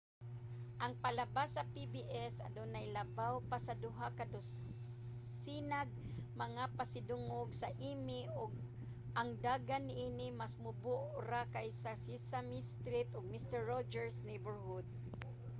ang palabas sa pbs adunay labaw pa sa duha ka dosenag mga pasidungog sa emmy ug ang dagan niini mas mubo ra kaysa sa sesame street ug mister roger's neighborhood